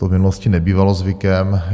To v minulosti nebývalo zvykem.